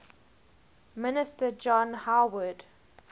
minister john howard